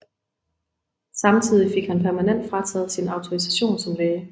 Samtidig fik han permanent frataget sin autorisation som læge